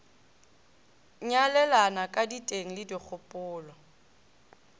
nyalelana ka diteng le dikgopolo